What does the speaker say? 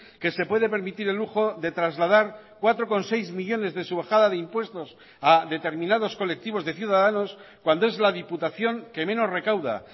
que se puede permitir el lujo de trasladar cuatro coma seis millónes de su bajada de impuestos a determinados colectivos de ciudadanos cuando es la diputación que menos recauda